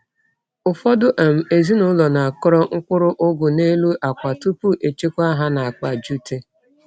Ụfọdụ um ezinụlọ na-akọrọ mkpụrụ ugu n’elu akwa tupu echekwa ha n’akpa jute.